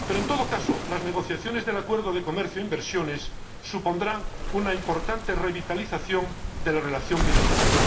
Pero, en todo caso, las negociaciones del acuerdo de comercio e inversión supondrán una importante revitalización de la relación bilateral.